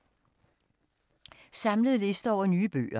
Samlet liste over nye bøger